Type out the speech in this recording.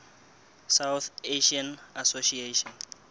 south asian association